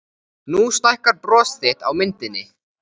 Nú stækkar bros þitt á myndinni.